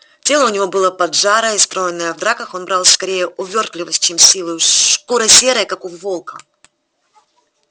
тело у него было поджарое и стройное в драках он брал скорее увёртливостью чем силой шкура серая как у волка